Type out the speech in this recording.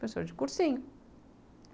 Professor de cursinho.